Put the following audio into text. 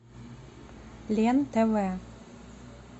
лен тв